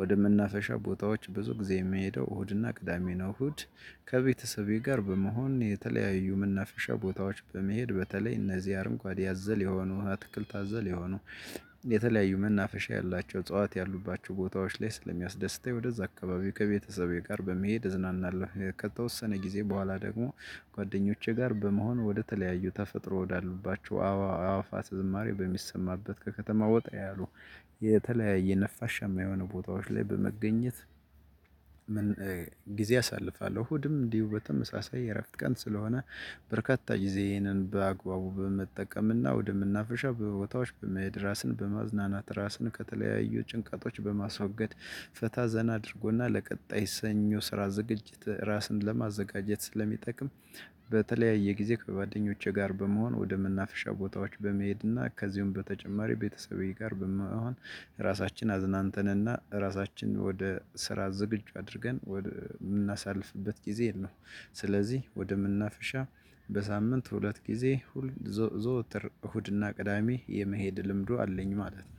ወደምናፈሻ ቦታዎች ብዙ ጊዜ የሚሄደው እሁድና ቅዳሜ ነው። እሁድ ከቤተሰቤ ጋር በመሆን የተለያዩ መናፈሻ ቦታዎች በመሄድ በተለይ እነዚህ አረንጓዴ ያዘል የሆኑ አትክልት አዘል የሆኑ የተለያዩ መናፈሻ ያላቸው እጽዋት ያሉባቸው ቦታዎች ላይ ስለሚያስደስተኝ ወደዛ አካባቢው ከቤተሰቤ ጋር በመሄድ እዝናናለሁ። ከተወሰነ ጊዜ በኋላ ደግሞ ጓደኞቼ ጋር በመሆን ወደተለያዩ ተፈጥሮ ወዳሉባቸው አእዋፋ ዝማሬ በሚሰማበት ከተማ ወጣ ያሉ የተለያየ ነፋሻማ ቦታዎች ላይ በመገኘት ጊዜ አሳልፋለሁ። ሁሉም እንዲሁ በተመሳሳይ የእረፍት ቀን ስለሆነ በርካታ ጊዜዬን በአግባቡ በመጠቀምና ወደመናፍሻው ቦታዎች በመሄድ ራሴን በማዝናናት ራስን ከተለያዩ ጭንቀቶች በማስወገድ ፈታ ዘና አድርጎና ለቀጣይ ሰኞ ስራ ዝግጅት ራስን ለማዘጋጀት ስለሚጠቅም። በተለያየ ጊዜ ከጓደኞቼ ጋር በመሆን ወደመናፍሻ ቦታዎች በመሄድና ከዚሁም በተጨማሪ ቤተሰቤ ጋር በመሆን ራሳችን አዝናንተንና ራሳችን ወደ ስራ ዝግጁ አድርገን የምናሳልፍበት ጊዜ የለውም። ስለዚህ ወደመናፍሻ በሳምንት ሁለት ጊዜ ዘወትር እሁድና ቅዳሜ የመሄድ ልምዱ አለኝ ማለት ነው።